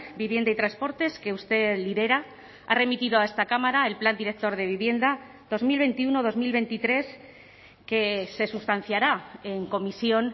vivienda y transportes que usted lidera ha remitido a esta cámara el plan director de vivienda dos mil veintiuno dos mil veintitrés que se sustanciará en comisión